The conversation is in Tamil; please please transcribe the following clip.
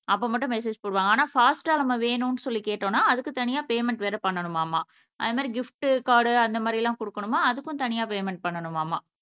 அப்ப மட்டும் மெசேஜ் போடுவாங்க ஆனா ஃபாஸ்டா நம்ம வேணும்னு சொல்லி கேட்டோம்னா அதுக்கு தனியா பேமென்ட் வேற பண்ணனுமாமா அத மாதிரி கிஃப்ட் கார்டு அந்த மாதிரியெல்லாம் குடுக்கணும்னா அதுக்கும் தனியா பேமென்ட் பண்ணனுமாமா